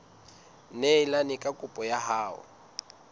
neelane ka kopo ya hao